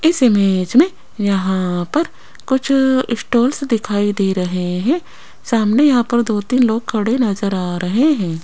इस इमेज मे यहां पर कुछ स्टाल्स दिखाई दे रहे है सामने यहां पर दो तीन लोग खडे नजर आ रहे है।